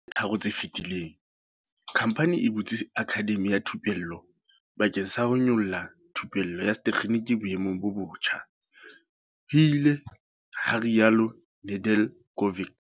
Dilemong tse tharo tse fetileng, khamphani e butse akhademi ya thupello bakeng sa ho nyolella thupello ya setekginiki boemong bo botjha, ho ile ha rialo Nedeljkovic.